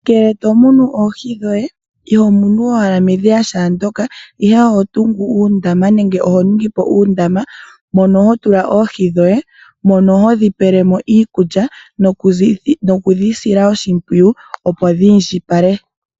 Ngele to munu oohi dhoye, iho munu owala medhiya shaandyoka ihe oho tungu uundama nenge oho ningi po uundama mono ho tula oohi dhoye mono ho dhipele mo iikulya nokudhi sila oshimpwiyu opo dhi indjipale.